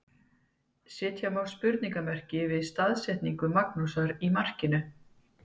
Setja má spurningamerki við staðsetningu Magnúsar í markinu.